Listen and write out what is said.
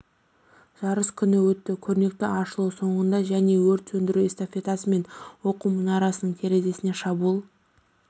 жарыс күні өтті көрнекті ашылу соңында және өрт сөндіру эстафетасы мен оқу мұнарасының терезесіне шабуыл